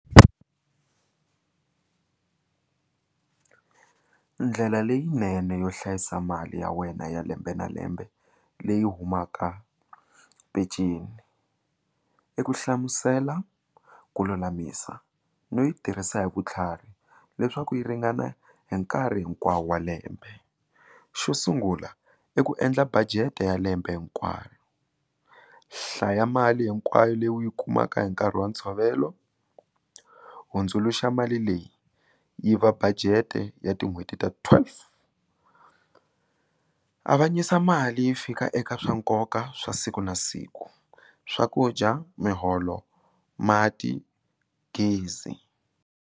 Ndlela leyinene yo hlayisa mali ya wena ya lembe na lembe leyi humaka penceni i ku hlamusela ku lulamisa no yi tirhisa hi vutlhari leswaku yi ringana hi nkarhi hinkwawo wa lembe xo sungula i ku endla budget ya lembe hinkwaro hlaya mali hinkwayo leyi u yi kumaka hi nkarhi wa ntshovelo hundzuluxa mali leyi yi va budget ya tin'hweti ta twelve avanyisa mali fika eka swa nkoka swa siku na siku swakudya miholo mati gezi.